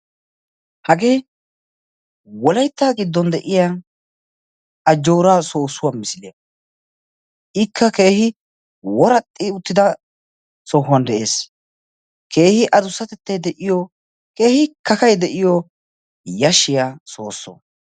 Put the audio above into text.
Hagee wolaytta giddon de'iya ajjooraa soossuwa misiliya. Ikka keehi woraxxi uttida sohuwan de'ees. Keehi adussatettay de'iyo, keehi kakay de'iyo yashshiya soosso.